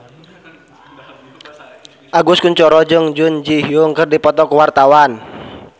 Agus Kuncoro jeung Jun Ji Hyun keur dipoto ku wartawan